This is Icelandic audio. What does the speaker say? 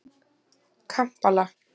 Kampala